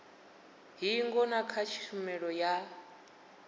hingo na kha tshumelo ya